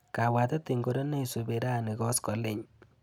Kabwatet ingoro neisupi rani koskoliny?